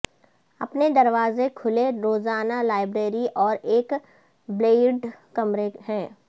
اپنے دروازے کھلے روزانہ لائبریری اور ایک بلیئرڈ کمرے ہیں